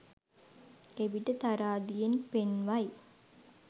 එවිට තරාදියෙන් පෙන්වයි